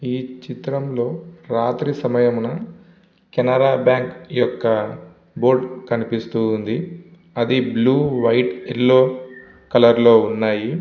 ఈ చిత్రం లో రాత్రి సమయమున కెనరా బ్యాంక్ యొక్క బోర్డు కనిపిస్తూ ఉంది. అది బ్లూ వైట్ యెల్లో కలర్ లో ఉన్నాయి.